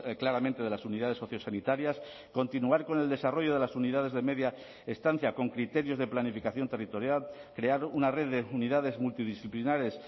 claramente de las unidades sociosanitarias continuar con el desarrollo de las unidades de media estancia con criterios de planificación territorial crear una red de unidades multidisciplinares